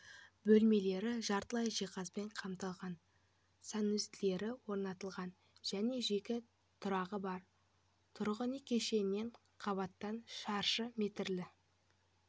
бөлмелері жартылай жиһазбен қамтылған санузелдері орнатылған және жеке тұрағы бар тұрғын үй кешенінен қабаттан шаршы метрлі